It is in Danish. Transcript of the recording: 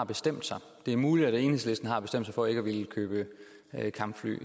bestemt sig det er muligt at enhedslisten har bestemt sig for ikke at ville købe kampfly